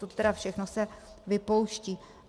Toto tedy všechno se vypouští.